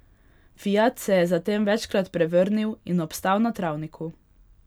Fiat se je zatem večkrat prevrnil in obstal na travniku.